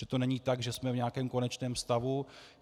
Že to není tak, že jsme v nějakém konečném stavu.